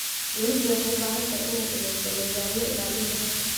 Dawladdu waxay u baahan tahay inay samayso nidaamyada ilaalinta xogta.